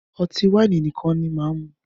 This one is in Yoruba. Ọtí wáìnì nìkan ni máà mú.